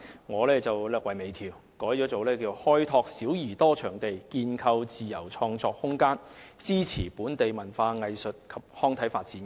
我略為微調，改為"開拓小而多場地，建構自由創作空間，支持本地文化藝術及康體發展"。